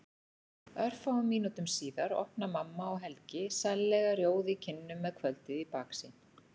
Örfáum mínútum síðar opna mamma og Helgi, sællega rjóð í kinnum með kvöldið í baksýn.